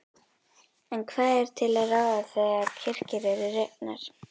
En hvað er til ráða þegar kirkjur eru rifnar?